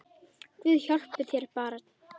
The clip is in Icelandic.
Guð hjálpi þér barn!